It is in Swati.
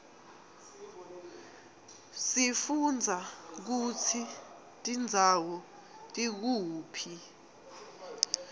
sifundza kutsi tindzawo tikuphi